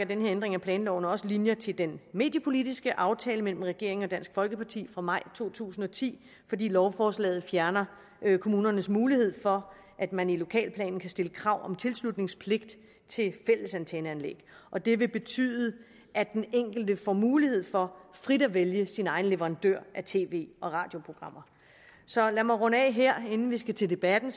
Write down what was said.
den her ændring af planloven også trækker linjer til den mediepolitiske aftale mellem regeringen og dansk folkeparti fra maj to tusind og ti fordi lovforslaget fjerner kommunernes mulighed for at man i lokalplanen kan stille krav om tilslutningspligt til fællesantenneanlæg og det vil betyde at den enkelte får mulighed for frit at vælge sin egen leverandør af tv og radioprogrammer så lad mig runde af her inden vi skal til debatten